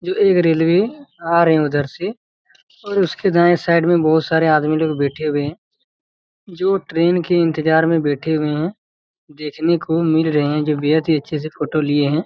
ये रेलवे आ रही हैं उधर से और उसके दाए साइड में बहुत से लोग बैठे हुए हैं जो ट्रेन के इंतजार मे बैठे हुए हैं देखने को मिल रहे हैं जो बेहद ही अच्छी-सी फोटो लिए हैं।